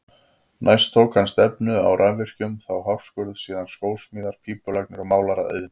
Næst tók hann stefnu á rafvirkjun, þá hárskurð, síðan skósmíðar, pípulagnir og málaraiðn.